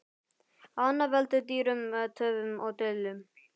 Annað veldur dýrum töfum og deilum.